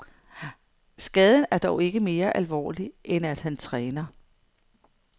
Skaden er dog ikke mere alvorlig, end at han træner.